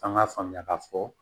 An k'a faamuya k'a fɔ